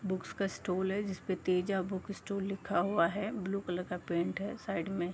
Books का stall है जिसपे तेजा बुक स्टूल लिखा हुआ है ब्लू कलर का पेंट है साइड में।